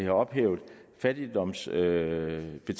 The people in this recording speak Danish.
ophævet fattigdomsbetalingerne så